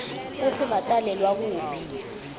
kutsi batalelwa kuphi